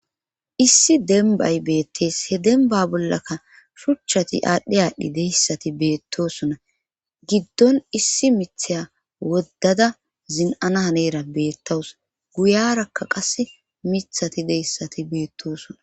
Issi dembay beettees he demba bollaka shuchchati aadhdhi aadhdhi deyssati beettosona giddon issi mitheya woddada zin7ana haneera beettawus guyarakka qas mithati deyssati beettoosona